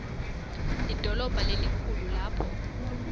lidolobha lelikhulu lapho